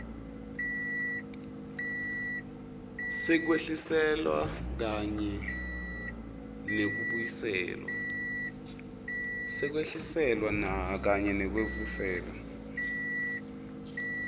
sekwehliselwa kanye nekubuyiselwa